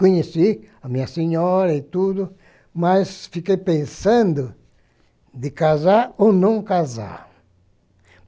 Conheci a minha senhora e tudo, mas fiquei pensando de casar ou não casar.